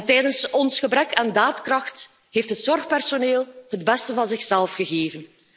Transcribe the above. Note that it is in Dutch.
Tijdens ons gebrek aan daadkracht heeft het zorgpersoneel het beste van zichzelf gegeven.